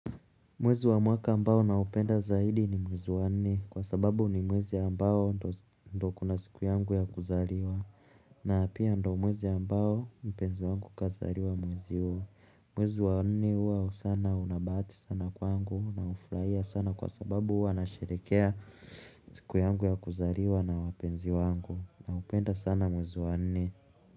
Mwezi wa mwaka ambao na upenda zaidi ni mwezi wa nne kwa sababu ni mwezi ambao ndio kuna siku yangu ya kuzaliwa na pia ndio mwezi ambao mpenzi wangu kazaliwa mwezi huo mwezi wa nne huwa sana una bahati sana kwangu na hufurahia sana kwa sababu huwa nasherehekea siku yangu ya kuzaliwa na wapenzi wangu na hupenda sana mwezi wa nne.